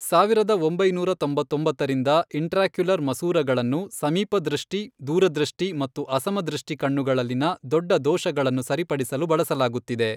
ಸಾವಿರದ ಒಂಬೈನೂರ ತೊಂಬತ್ತೊಂಬತ್ತರಿಂದ, ಇಂಟ್ರಾಕ್ಯುಲರ್ ಮಸೂರಗಳನ್ನು ಸಮೀಪದೃಷ್ಟಿ, ದೂರದೃಷ್ಟಿ ಮತ್ತು ಅಸಮದೃಷ್ಟಿ ಕಣ್ಣುಗಳಲ್ಲಿನ ದೊಡ್ಡ ದೋಷಗಳನ್ನು ಸರಿಪಡಿಸಲು ಬಳಸಲಾಗುತ್ತಿದೆ.